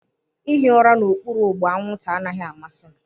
Ịhụ ụra n'okpuru ụgbụ anwụnta anaghị amasị m.